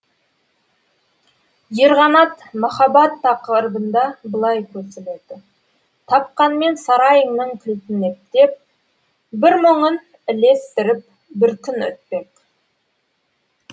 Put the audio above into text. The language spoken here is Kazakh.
ерғанат махаббат тақырыбында былай көсіледі тапқанмен сарайыңның кілтін ептеп бір мұңын ілестіріп бір күн өтпек